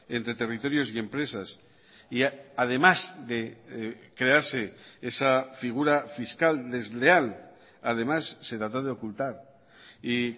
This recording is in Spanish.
entre territorios y empresas y además de crearse esa figura fiscal desleal además se trató de ocultar y